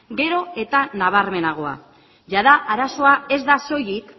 gero eta nabarmenagoa jada arazoa ez da soilik